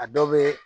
A dɔ bɛ